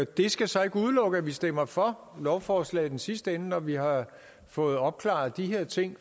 det skal så ikke udelukke at vi stemmer for lovforslaget i den sidste ende når vi har fået opklaret de her ting